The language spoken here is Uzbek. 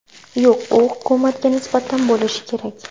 Yo‘q, u hukumatga nisbatan bo‘lishi kerak.